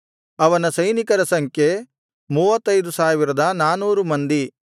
ಅವನ ಸೈನಿಕರ ಸಂಖ್ಯೆ 35400 ಮಂದಿ